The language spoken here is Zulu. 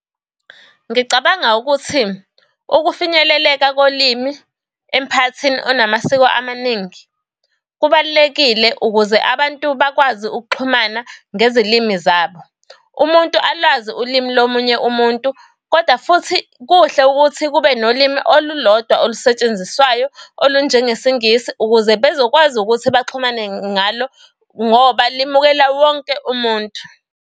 Ngicabanga ukuthi ukufinyeleleka kolimi emphakathini onamasiko amaningi kubalulekile ukuze abantu bakwazi ukuxhumana ngezilimi zabo. Umuntu alwazi ulimi lomunye umuntu, kodwa futhi kuhle ukuthi kube nolimi olulodwa olusetshenziswayo olunje ngesiNgisi. Ukuze bezokwazi ukuthi baxhumane ngalo ngoba limukela wonke umuntu.